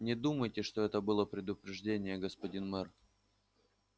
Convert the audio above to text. не думайте что это было предупреждением господин мэр